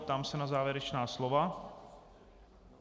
Ptám se na závěrečná slova.